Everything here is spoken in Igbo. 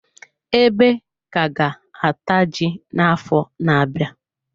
Ebe ka ga-ata ji na-afo na-abịa.